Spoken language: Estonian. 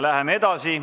Läheme edasi.